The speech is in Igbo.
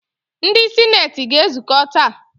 Ndị sineeti ga-ezukọ taa.